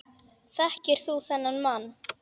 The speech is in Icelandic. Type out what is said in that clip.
Þekkir þú þennan mann?